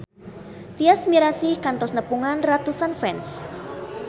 Tyas Mirasih kantos nepungan ratusan fans